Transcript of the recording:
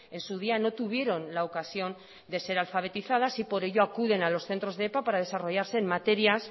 en su día no tuvieron la ocasión de ser alfabetizadas y por ello acuden a los centros de epa para desarrollarse en materias